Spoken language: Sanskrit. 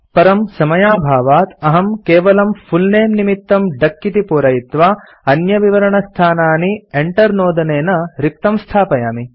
परं समयाभावात् अहं केवलम् फुल् नमे निमित्तम् डक इति पूरयित्वा अन्यविवरणस्थानानि enter नोदनेन रिक्तं स्थापयामि